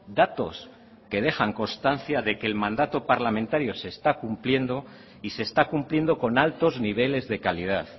datos que dejan constancia de que el mandato parlamentario se está cumpliendo y se está cumpliendo con altos niveles de calidad